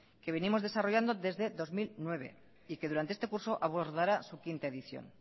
que venimos desarrollando desde dos mil nueve y que durante este curso abordará su quinta edición